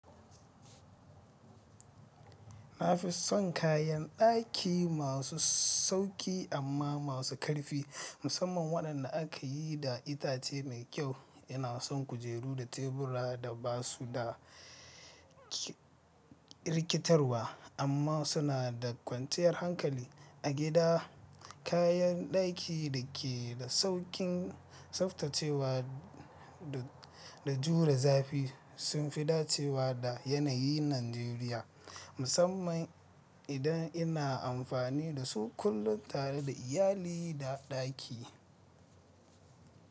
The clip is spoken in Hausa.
Na fi son kayan daki masu sauƙi amma masu ƙarfi, musamman waɗanda aka yi da itace mai kyau. Ina son kujeru da tebura da ba su da rikitarwa amma suna da kwanciyar hankali. A gida, kayan daki da ke da sauƙin tsaftacewa da jure zafi sun fi dacewa da yanayi Najeriya, musamman idan ina amfani da su kullum tare da iyali da daki.